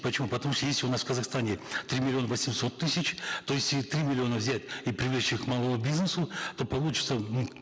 почему потому что есть у нас в казахстане три миллиона восемьсот тысяч то если три миллиона взять и привлечь их к малому бизнесу то получится мы в